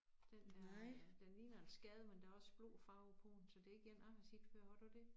Den der den ligner en skade men der også blå farve på den så det ikke én jeg har set før har du det